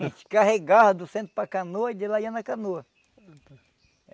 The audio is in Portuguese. A gente carregava do centro para canoa e de lá ia na canoa.